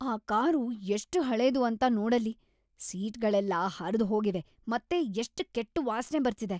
ಆ ಕಾರು ಎಷ್ಟ್ ಹಳೇದು ಅಂತ ನೋಡಲ್ಲಿ. ಸೀಟ್‌ಗಳೆಲ್ಲ ಹರ್ದ್‌ಹೋಗಿವೆ ಮತ್ತೆ ಎಷ್ಟ್‌ ಕೆಟ್ಟ್ ವಾಸ್ನೆ ಬರ್ತಿದೆ.